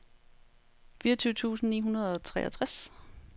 fireogtyve tusind ni hundrede og treogtres